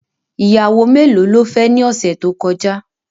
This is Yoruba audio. Ìyàwó melo ló fẹ́ ni ọ̀sẹ̀ tó kọjá?.